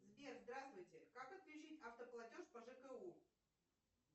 сбер здравствуйте как отключить автоплатеж по жку